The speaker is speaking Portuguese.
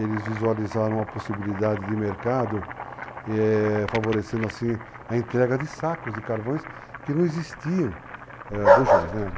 Eles visualizaram a possibilidade de mercado, eh... favorecendo, assim, a entrega de sacos de carvões que não existiam, bujões, né?